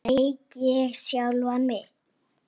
Sveik ég sjálfan mig?